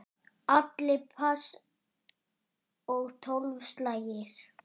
Allir pass og tólf slagir.